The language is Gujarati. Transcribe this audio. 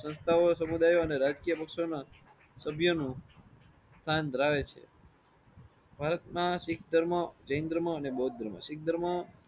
સંસ્થો સમુદાયીઓ અને રાજકીય પક્ષોના સાબુ નું સ્થાન ધરાવે છે ભારત ના શીખ ધર્મ જૈન ધર્મ અને બૌદ્ધ ધર્મ શીખ ધર્મ